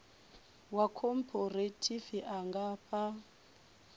wa khophorethivi a nga fha